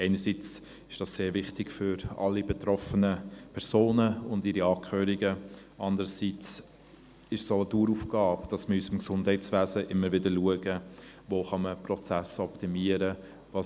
Einerseits ist sie sehr wichtig für alle betroffenen Personen und ihre Angehörigen, andererseits ist es auch eine Daueraufgabe, immer wieder zu schauen, wo man Prozesse in unserem Gesundheitswesen optimieren kann.